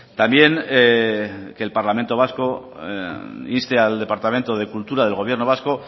también que el parlamento vasco inste al departamento de cultura del gobierno vasco